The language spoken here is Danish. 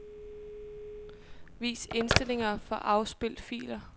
Vis indstillinger for afspil filer.